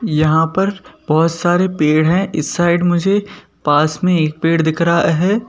यहाँ पर बहुत सारे पेड़ हैं इस साइड मुझे पास में एक पेड़ दिख रहा है।